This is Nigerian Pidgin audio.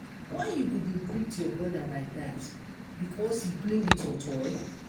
why you go dey beat your broda like dat because he play with your toy?